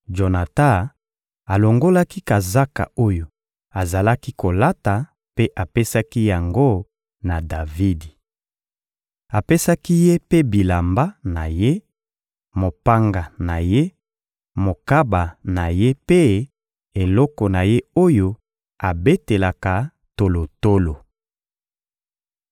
Jonatan alongolaki kazaka oyo azalaki kolata mpe apesaki yango na Davidi. Apesaki ye mpe bilamba na ye, mopanga na ye, mokaba na ye mpe eloko na ye oyo abetelaka tolotolo.